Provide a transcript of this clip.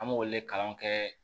An b'olu le kalan kɛ